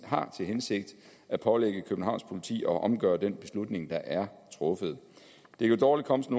har til hensigt at pålægge københavns politi at omgøre den beslutning der er truffet det kan dårligt komme som